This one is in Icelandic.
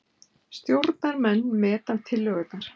Stjórnarmenn meta tillögurnar